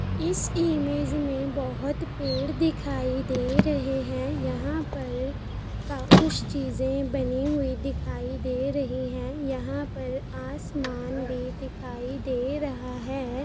इस इमेज मे बहुत पेड़ दिखाई दे रहे हैं यहाँ पर क कुछ चीज़े बनी हुई दिखाई दे रही है | यहाँ पर आसमान भी दिखाई दे रहा हैं |